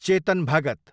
Chetan Bhagat